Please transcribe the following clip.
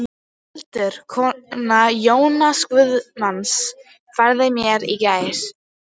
Hildur, kona Jóhanns guðsmanns, færði mér í gær.